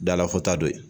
Dala fɔta don ye